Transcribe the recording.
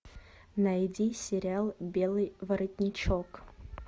найди сериал белый воротничок